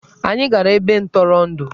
Anyị gara ebe ntụrụndụ.